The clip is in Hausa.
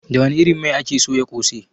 Da wani irin mai ake soya kose?